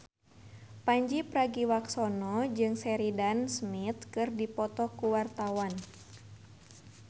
Pandji Pragiwaksono jeung Sheridan Smith keur dipoto ku wartawan